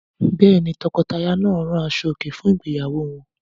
Bẹ́ẹ̀ ni, tọkọtaya náà rán aṣọòkè fún ìgbéyàwó wọn.